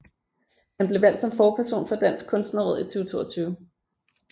Han blev valgt som forperson for Dansk Kunstnerråd i 2022